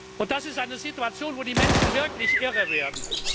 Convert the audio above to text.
Und das ist eine Situation, an der die Menschen wirklich irre werden.